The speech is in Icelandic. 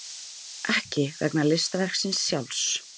Ekki vegna listaverksins sjálfs.